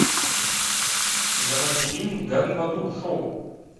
заводи фильм гори в аду шоу